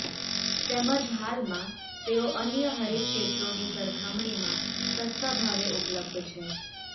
તેમજ હાલમાં તેઓ અન્ય હરીફ ક્ષેત્રોની સરખામણીમાં સસ્તા ભાવે ઉપલબ્ધ છે